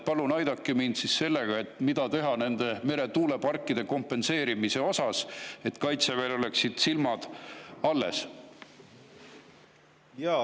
Palun aidake mind sellega, mida teha nende meretuuleparkide kompenseerimiseks, et Kaitseväel oleksid silmad alles?